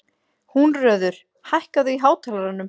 Húnröður, hækkaðu í hátalaranum.